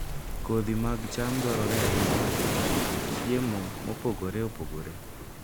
Kodhi mag cham dwarore ahinya e loso kit chiemo mopogore opogore.